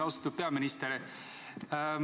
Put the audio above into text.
Austatud peaminister!